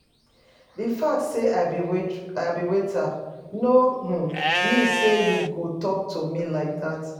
The fact say I be waiter no um mean say you go talk to me like dat